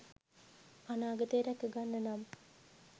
අනාගතේ රැකගන්න නම්